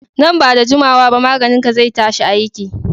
Nan ba da juma wa ba maganin ka zai tashi aiki